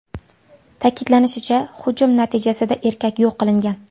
Ta’kidlanishicha, hujum natijasida erkak yo‘q qilingan.